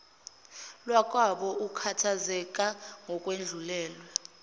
lwakwabo akhathazeke ngokwedlulele